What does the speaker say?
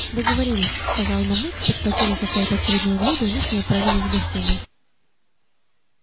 договорились сказала мамулька подхватила какое-то очередное блюдо и мы с ней отправились в гостиную